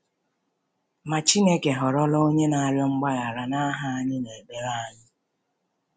Ma, Chineke họrọla Onye na-arịọ mgbaghara n’aha anyị n’ekpere anyị.